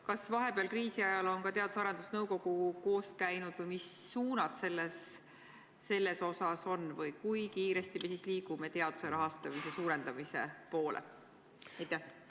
Kas vahepeal, kriisi ajal, on ka Teadus- ja Arendusnõukogu koos käinud või mis suunad seal on või kui kiiresti me liigume teaduse rahastamise suurendamise poole?